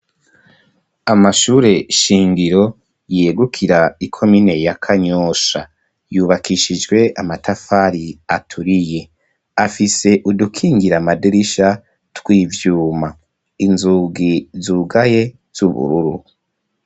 Amashure shingiro yegukira ikomine ya kanyosha yubakishijwe amatafari aturiye afise udukingira madirisha tw'ivyuma, inzugi zugaye z'ubururu.